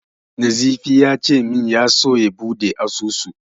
Nazifi ya ce min ya so ya buɗe asusu.